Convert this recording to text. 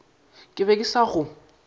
ke be ke sa go